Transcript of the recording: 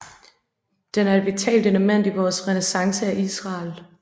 Den er et vitalt element i vores renæsance af Israel